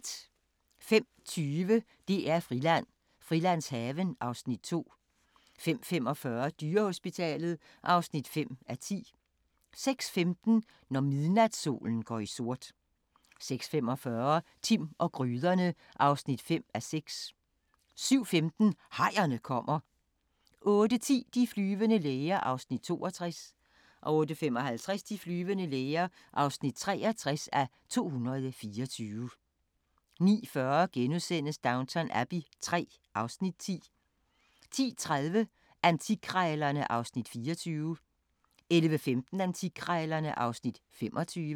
05:20: DR-Friland: Frilandshaven (Afs. 2) 05:45: Dyrehospitalet (5:10) 06:15: Når midnatssolen går i sort 06:45: Timm og gryderne (5:6) 07:15: Hajerne kommer! 08:10: De flyvende læger (62:224) 08:55: De flyvende læger (63:224) 09:40: Downton Abbey III (Afs. 10)* 10:30: Antikkrejlerne (Afs. 24) 11:15: Antikkrejlerne (Afs. 25)